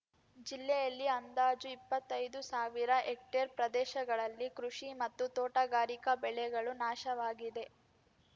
ಜಿಲ್ಲೆಯಲ್ಲಿ ಅಂದಾಜು ಇಪ್ಪತ್ತೈದು ಸಾವಿರ ಹೆಕ್ಟೇರ್‌ ಪ್ರದೇಶಗಳಲ್ಲಿ ಕೃಷಿ ಮತ್ತು ತೋಟಗಾರಿಕಾ ಬೆಳೆಗಳು ನಾಶವಾಗಿದೆ